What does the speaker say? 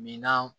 Minan